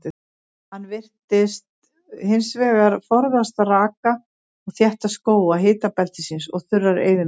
Hann virðist hins vegar forðast raka og þétta skóga hitabeltisins og þurrar eyðimerkur.